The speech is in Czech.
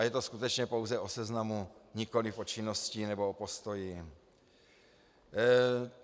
A je to skutečně pouze o seznamu, nikoliv o činnosti nebo o postoji.